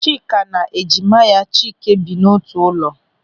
Chika na ejima ya Chike bi n'otu ụlọ.